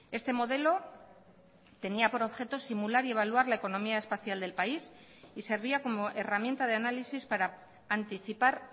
este modelo tenía por objeto simular y evaluar la economía espacial del país y servía como herramienta de análisis para anticipar